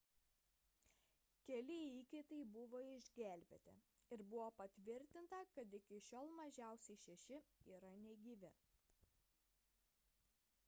keli įkaitai buvo išgelbėti ir buvo patvirtinta kad iki šiol mažiausiai šeši yra negyvi